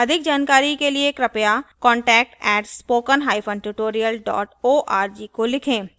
अधिक जानकारी के लिए कृपया contact @spokentutorial org को लिखे